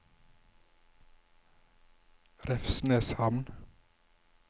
Revsneshamn